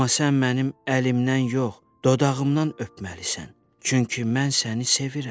Amma sən mənim əlimdən yox, dodağımdan öpməlisən, çünki mən səni sevirəm.